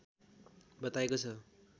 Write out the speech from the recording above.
बताएको छ